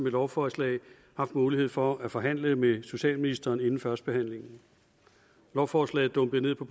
et lovforslag haft mulighed for at forhandle med socialministeren inden førstebehandlingen lovforslaget dumpede ned på